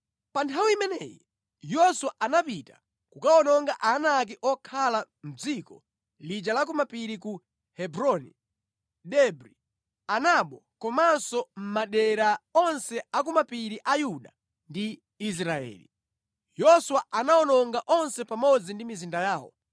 Pa nthawi imeneyi Yoswa anapita kukawononga Aanaki okhala mʼdziko lija la ku mapiri ku Hebroni, Debri, Anabu komanso madera onse a ku mapiri a Yuda ndi Israeli. Yoswa anawawononga onse pamodzi ndi mizinda yawo.